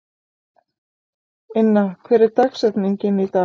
Inna, hver er dagsetningin í dag?